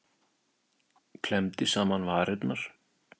Klemmdi saman varirnar.